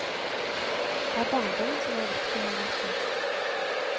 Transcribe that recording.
Det er barndommen som er viktig her også.